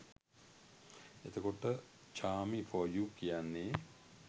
එතකොට Chami for you කියන්නේ